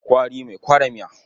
Kwari mai kwara miya.